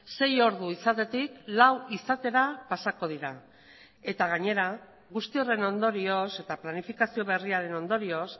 sei ordu izatetik lau izatera pasako dira eta gainera guzti horren ondorioz eta planifikazio berriaren ondorioz